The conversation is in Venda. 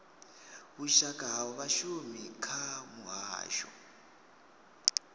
vhushaka ha vhashumi kha muhasho